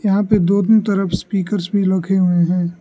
यहां पे दोनों तरफ स्पीकर्स भी रखे हुए हैं।